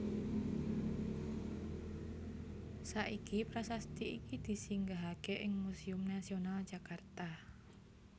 Saiki prasasti iki disinggahaké ing Museum Nasional Jakarta